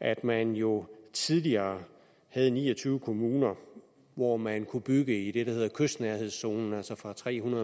at man jo tidligere havde ni og tyve kommuner hvor man kunne bygge i det der hedder kystnærhedszonen altså fra tre hundrede